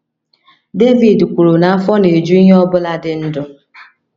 Devid kwuru na afọ na - eju ihe ọ bụla dị ndụ.